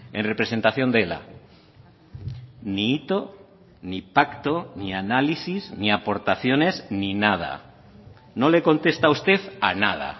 en representación de ela ni hito ni pacto ni análisis ni aportaciones ni nada no le contesta a usted a nada